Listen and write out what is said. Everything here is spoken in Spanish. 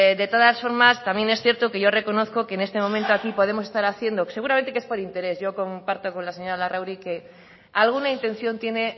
de todas formas también es cierto que yo reconozco que en este momento aquí podemos estar haciendo seguramente que es por interés yo comparto con la señora larrauri que alguna intención tiene